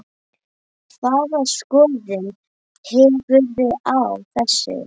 Hvaða skoðun hefurðu á þessu?